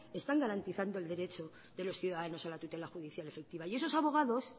están garantizando el derecho de los ciudadanos a la tutela judicial efectiva y esos abogados